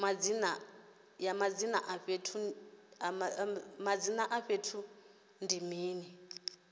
madzina a fhethu ndi mini